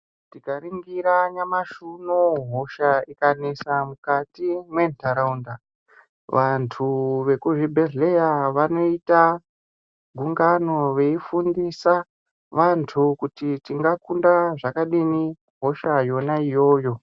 Tika ningira nyamashi unowu hosha ika nesa mukati me ndaraunda vantu ve ku zvibhedhleya vanoita gungano veyi fundisa vantu kuti tinga kunda zvakadini hosha yona iyoyo .